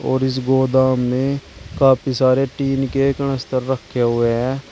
और इस गोदम में काफी सारे टीन के कनस्तर रखें हुए हैं।